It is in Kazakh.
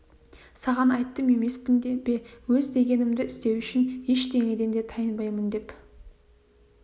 саған айттым емеспін бе өз дегенімді істеу үшін ештеңеден де тайынбаймын деп